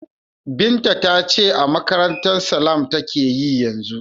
Binta ta ce a makarantar Salam take yi yanzu.